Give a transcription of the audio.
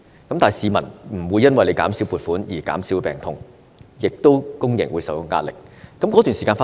但是，市民不會因為政府減少撥款而減少病痛，公營醫療亦受到壓力。